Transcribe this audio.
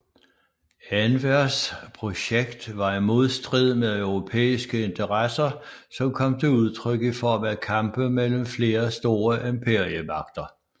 Envers projekt var i modstrid med europæiske interesser som kom til udtryk i form af kampe mellem flere store imperiemagter